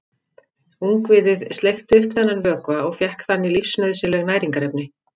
Ungviðið sleikti upp þennan vökva og fékk þannig lífsnauðsynleg næringarefni.